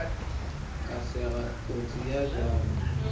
ka sega kotsi ye bjalo